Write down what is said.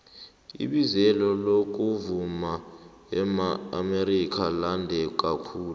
ibizelo lokuvuma eamerika lande kakhulu